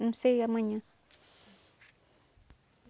Não sei, amanhã.